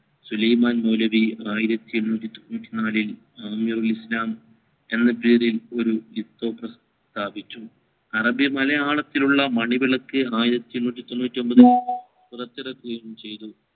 സുലൈമാൻ മൗലവി ആയിരത്തി എണ്ണൂറ്റി തൊണ്ണൂറ്റി നാലിൽ ഇസ്ലാം എന്ന പേരിൽ സ്ഥാപിച്ചു അറബിമലയാളത്തിലുള്ള മാണിവിളക്കു ആയിരത്തി എണ്ണൂറ്റി തൊണ്ണൂറ്റി ഒമ്പതിൽ പുറത്തിറക്കുകയും ചയ്തു